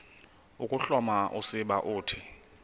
ukuhloma usiba uthi